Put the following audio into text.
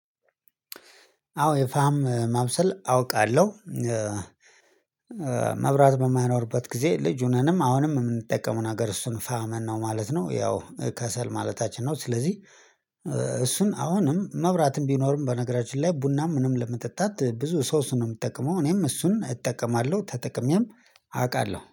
አዎ የፋም ማብሰል አውቃለሁ። መብራት በማይኖርበት ጊዜ ልጅ ሆነንም አሁንም የምንጠቀመው ነገር እሱን ፋመን ነው ማለት ነው ያው ከሰል ማለታችን ነው። ስለዚህ እሱን አሁንም መብራትም ቢኖርም በነገራችን ላይ ቡናም ምንም ለመጠጣት ብዙ ሰው እሱን ነው የምትጠቀመው እኔም እሱን እጠቀማለሁ ተጠቅሜም አውቃለሁ